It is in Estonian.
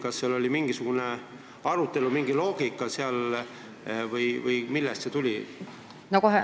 Kas selle üle oli mingisugune arutelu ja sellel on mingi loogika või millest see tuli?